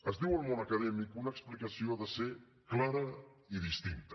es diu al món acadèmic que una explicació ha de ser clara i distinta